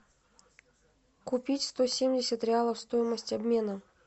купить сто семьдесят реалов стоимость обмена